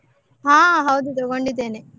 ಹ ಹೌದು ತಗೊಂಡಿದ್ದೇನೆ.